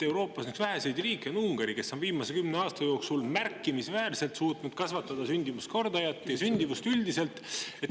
Üks väheseid riike Euroopas on Ungari, kes on viimase kümne aasta jooksul märkimisväärselt suutnud kasvatada sündimuskordajat ja sündimust üldiselt.